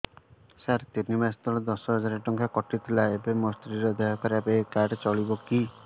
ସାର ତିନି ମାସ ତଳେ ଦଶ ହଜାର ଟଙ୍କା କଟି ଥିଲା ଏବେ ମୋ ସ୍ତ୍ରୀ ର ଦିହ ଖରାପ ଏ କାର୍ଡ ଚଳିବକି